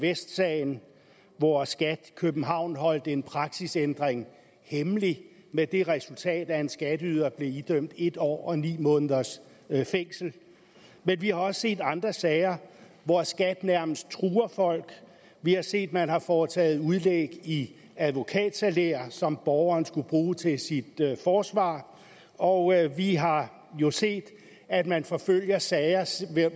vest sagen hvor skat københavn holdt en praksisændring hemmelig med det resultat at en skatteyder blev idømt en år og ni måneders fængsel men vi har også set andre sager hvor skat nærmest truer folk vi har set at man har foretaget udlæg i advokatsalærer som borgeren skulle bruge til sit forsvar og vi har jo set at man forfølger sager sager